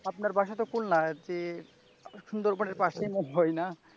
আপনার বাসা খুলনাতে তে সুন্দরবনের পাশে হয় না।